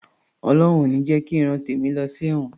Ọlọhun ò ní jẹ ki ìran tèmi lọ sí ẹ̀wọ̀n